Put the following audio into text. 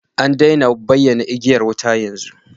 An daina bayyanar da igiyar wuta yanzu